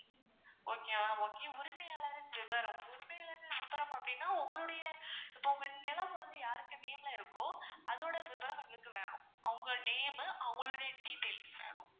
okay ma'am okay உரிமையாளரின் விபரம் உரிமையாளரின் விபரம் அப்படினா உங்களுடைய இப்போ உங்க நிலம் வந்து யார்க்கு name ல இருக்கோ அதோட விபரம் எங்களுக்கு வேணும் அவங்க name மு அவங்க detail வேணும்.